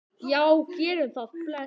Já, við gerum það. Bless.